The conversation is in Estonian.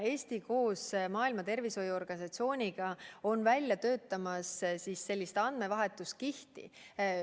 Eesti töötab koos Maailma Terviseorganisatsiooniga välja sellist andmevahetuskihti.